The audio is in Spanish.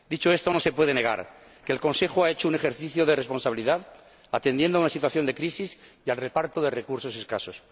Dicho esto, no se puede negar que el Consejo ha hecho un ejercicio de responsabilidad, atendiendo a una situación de crisis y al reparto de recursos escasos.